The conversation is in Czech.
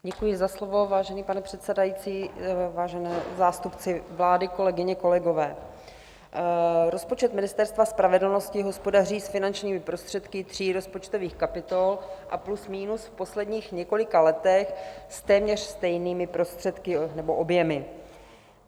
Děkuji za slovo, vážený pane předsedající, vážení zástupci vlády, kolegyně, kolegové, rozpočet Ministerstva spravedlnosti hospodaří s finančními prostředky tří rozpočtových kapitol a plus minus v posledních několika letech s téměř stejnými prostředky nebo objemy.